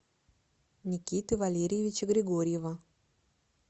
никиты валерьевича григорьева